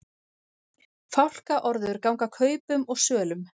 Fálkaorður ganga kaupum og sölum